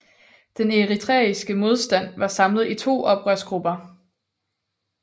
Den eritreiske modstand var samlet i to oprørsgrupper